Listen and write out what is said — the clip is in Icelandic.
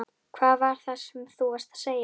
Hvað var það sem þú varst að segja?